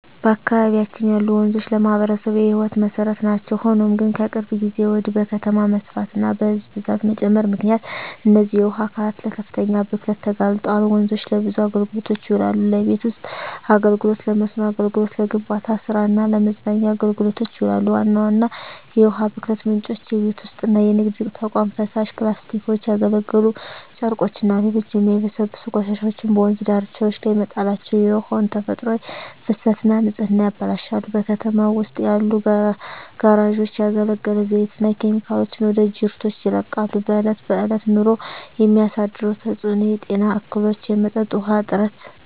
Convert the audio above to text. በአካባቢያችን ያሉ ወንዞች ለማኅበረሰቡ የሕይወት መሠረት ናቸው። ሆኖም ግን፣ ከቅርብ ጊዜ ወዲህ በከተማ መስፋፋትና በሕዝብ ብዛት መጨመር ምክንያት እነዚህ የውሃ አካላት ለከፍተኛ ብክለት ተጋልጠዋል። ወንዞች ለብዙ አገልግሎቶች ይውላሉ። ለቤት ውስጥ አገልግሎ፣ ለመስኖ አገልግሎት፣ ለግንባታ ስራ እና ለመዝናኛ አገልግሎቶች ይውላሉ። ዋና ዋና የውሃ ብክለት ምንጮች:- የቤት ውስጥና የንግድ ተቋማት ፍሳሽ፣ ፕላስቲኮች፣ ያገለገሉ ጨርቆችና ሌሎች የማይበሰብሱ ቆሻሻዎች በወንዝ ዳርቻዎች ላይ መጣላቸው የውሃውን ተፈጥሯዊ ፍሰትና ንጽህና ያበላሻሉ። በከተማው ውስጥ ያሉ ጋራዦች ያገለገለ ዘይትና ኬሚካሎችን ወደ ጅረቶች ይለቃሉ። በእለት በእለት ኑሮ የሚያሳድረው ተጽኖ:- የጤና እክሎች፣ የመጠጥ ውሀ እጥረት…